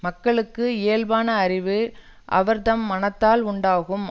மக்களுக்கு இயல்பான அறிவு அவர் தம் மனததால் உண்டாகும்